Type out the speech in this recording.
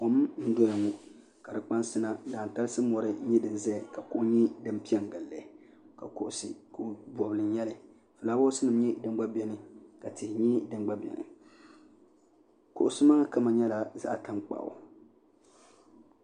kom n doya ŋɔ ka di kpansi. na dantalisi n nyɛ di zaya kuɣ' nyɛ din pɛ n gili ka kuɣisi kuɣ' bɔli n nyɛli ƒulawasi nim gba nyɛ. din bɛn ka tihi nyɛ din gba bɛni kuɣisi maa kama nyɛla zaɣ'tankpaɣigu